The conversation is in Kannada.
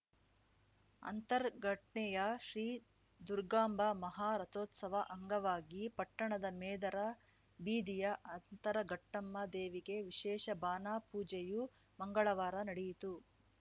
ಅಂತರಘಟ್ನೆಯ ಶ್ರೀ ದುರ್ಗಾಂಬಾ ಮಹಾ ರಥೋತ್ಸವ ಅಂಗವಾಗಿ ಪಟ್ಟಣದ ಮೇದರ ಬೀದಿಯ ಅಂತರಘಟ್ಟಮ್ಮ ದೇವಿಗೆ ವಿಶೇಷ ಬಾನಾ ಪೂಜೆಯು ಮಂಗಳವಾರ ನಡೆಯಿತು